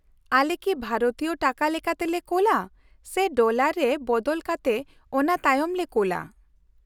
-ᱟᱞᱮ ᱠᱤ ᱵᱷᱟᱨᱚᱛᱤᱭᱚ ᱴᱟᱠᱟ ᱞᱮᱠᱟᱛᱮᱞᱮ ᱠᱳᱞᱟ ᱥᱮ ᱰᱚᱞᱟᱨ ᱨᱮ ᱵᱚᱫᱚᱞ ᱠᱟᱛᱮ ᱚᱱᱟᱛᱟᱭᱚᱢ ᱞᱮ ᱠᱳᱞᱟ ?